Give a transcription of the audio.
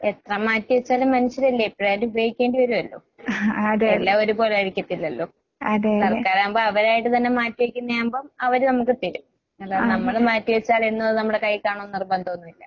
എത്ര മാറ്റിവെച്ചാലും മനുഷ്യരല്ലേ എപ്പഴായാലും ഉപയോഗിക്കേണ്ടി വരുവല്ലോ? എല്ലാം ഒരുപോലായിരിക്കത്തില്ലല്ലോ? സർക്കാരാകുമ്പോ അവരായിട്ട് തന്നെ മാറ്റിവെയ്ക്കുന്നയാവുമ്പം അവര് നമ്മക്ക് തരും. അല്ലാതെ നമ്മള് മാറ്റിവെച്ചാലെന്നും അത് നമ്മടെ കൈയ്യിൽ കാണുവെന്ന് നിർബന്ധോന്നും ഇല്ല.